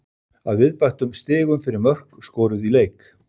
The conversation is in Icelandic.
Að viðbættum stigum fyrir mörk skoruð í leik.